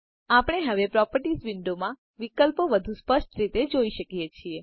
આપણે હવે પ્રોપર્ટીઝ વિંડોમાં વિકલ્પો વધુ સ્પષ્ટ રીતે જોઈ શકીએ છે